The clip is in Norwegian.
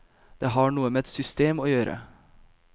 Det har noe med et system å gjøre.